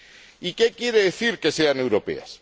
¿Y qué quiere decir que sean europeas?